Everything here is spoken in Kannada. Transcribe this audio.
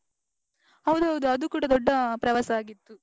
ಹೌದು ಹೌದು ಅದು ಕೂಡಾ ದೊಡ್ಡ ಪ್ರವಾಸ ಆಗಿತ್ತು.